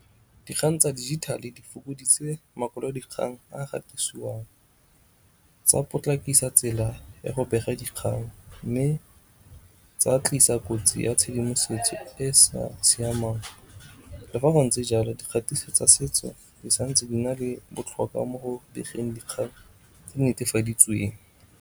Dikgang tsa dijithale di fokoditse makwalodikgang a gatisiwang tsa potlakisa tsela ya go bega dikgang mme tsa tlisa kotsi ya tshedimosetso e sa siamang le fa go ntse jalo dikgatiso tsa setso di santse di na le botlhokwa mo go begeng dikgang tse di netefaditsweng.